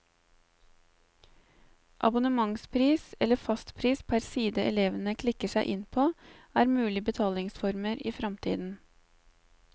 Abonnementspris, eller fastpris per side elevene klikker seg inn på, er mulige betalingsformer i fremtiden.